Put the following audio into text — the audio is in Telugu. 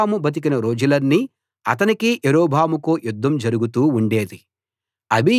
రెహబాము బతికిన రోజులన్నీ అతనికీ యరొబాముకూ యుద్ధం జరుగుతూ ఉండేది